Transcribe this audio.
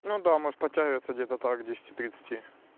ну да можешь подтягиваться где-то так к десяти тридцати